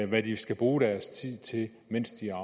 hvad de skal bruge deres tid til mens de er